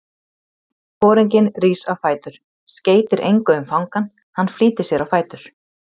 Foringinn rís á fætur, skeytir engu um fangann, hann flýtir sér á fætur.